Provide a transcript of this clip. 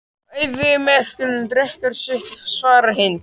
Og eyðimörkin drekkur í sig vatnið svarar Hind.